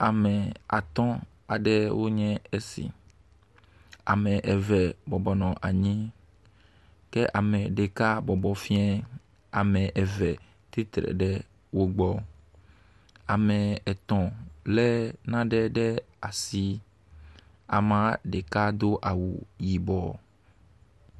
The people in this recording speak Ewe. Ame atɔ̃ aɖewo nye esi. Ame eve bɔbɔ nɔ anyi ke ame ɖeka bɔbɔ fiɛɛ. Ame eve tsitre ɖe wo gbɔ. Ame etɔ̃ lé nane ɖe asi. Amea ɖeka do awu yibɔ.